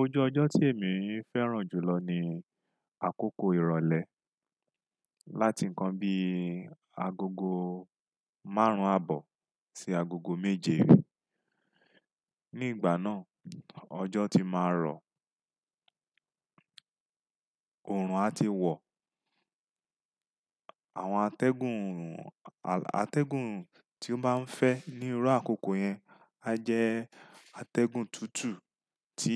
Ojú ọjọ́ tí èmi ń fẹ́ràn jùlọ ni àkókò ìrọ̀lẹ́. Láti nǹkan bí agogo márùn-ún àbọ̀ sí agogo méje. Ní ìgbà náà, ọjọ́ ti máa rọ̀, òòrùn a ti wọ̀. Àwọn atẹ́gùn, atẹ́gùn tí ó máa ń fẹ́ ní iru àkókò yẹn, a jẹ́ atẹ́gùn tútù tí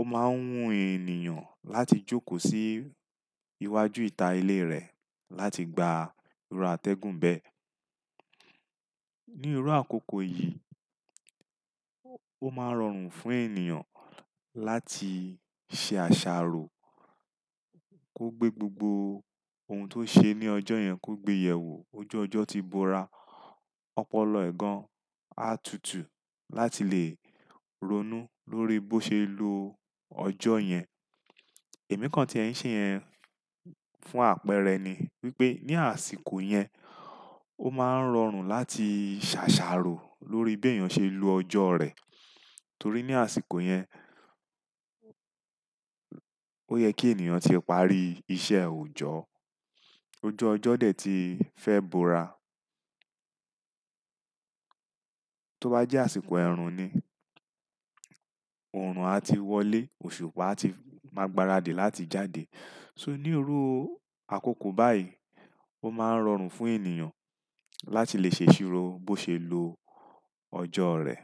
ó máa ń wún ènìyàn láti jókòó sí iwájú ìta ilé rẹ̀ láti gba iru atẹ́gùn bẹ́ẹ̀. Ní iru àkókò yìí, ó máa ń rọrùn fún ènìyàn láti ṣe àṣàrò, kó gbé gbogbo ohun tó ṣe ní ọjọ́ yẹn kó gbé yẹ̀ wò. Ojú ọjọ́ ti bora, ọpọlọ ẹ̀ gan-an á tutù láti lè ronú lórí bó ṣe lo ọjọ́ yẹn. Ẹ̀mí kan tí ẹ̀ ń ṣe yẹn fún àpẹẹrẹ ni wípé ní àsìkò yẹn, ó máa ń rọrùn láti ṣàṣàrò lórí bí èyàn ṣe lo ọjọ́ rẹ̀. Torí ní àsìkò yẹn, ó yẹ kí ènìyàn tí parí iṣẹ́ òjọ́, ojú ọjọ́ dẹ̀ ti fẹ́ bora. Tó bá jẹ́ àsìkò ẹ̀rùn ni, òòrùn a ti wọlé, òṣùpá a ti máa gbaradì láti jáde. So ní irò àkókò báyìí, ó máa ń rọrùn fún ènìyàn láti lè ṣèṣì ro bó ṣe lo ọjọ́ rẹ̀.